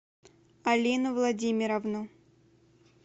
алину владимировну